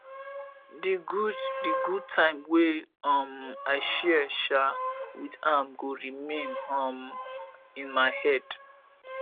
di good di good time wey um i share um with am go remain um in my head